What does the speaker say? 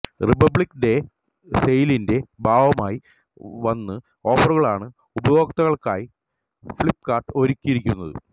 republic Day സെയിലിന്റെ ഭാഗമായി വന് ഓഫറുകളാണ് ഉപഭോക്താക്കള്ക്കായി ഫ്ലിപ്കാര്ട്ട് ഒരുക്കിയിരിക്കുന്നത്